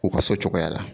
U ka so cogoya la